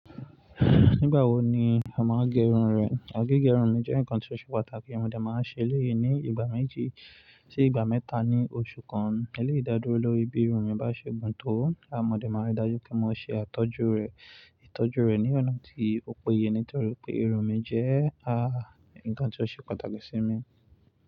Nígbà wo ni a má wa gerun rẹ? Àgegẹ́ irun mi jẹ́ nǹkan tó ṣe pàtàkì, mọdé máa ń ṣe léyìí ní ìgbà méjì sí ìgbà mẹ́ta ní oṣù kan. Èlé ìdádúró lórí bí irun mi bá ṣe gùn tó, à mọdé máa ń ri dájú pé mo ṣe àtọ́jú rẹ̀, ìtọ́jú rẹ̀ ní ọ̀nà tí ó péye nítorí pé irun mi jẹ́ a nǹkan tó ṣe pàtàkì sí mi.